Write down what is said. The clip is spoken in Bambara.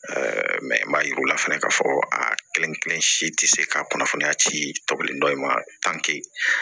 mɛ n b'a yir'u la fɛnɛ k'a fɔ a kelen-kelen si tɛ se ka kunnafoniya ci tɔlen dɔ in ma